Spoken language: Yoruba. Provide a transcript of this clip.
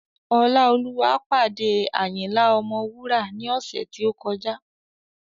Ọláolúwa pàdé Ayinla Ọmọwura ní ọ̀sẹ̀ tí ó kọjá